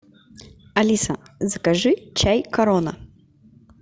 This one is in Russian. алиса закажи чай корона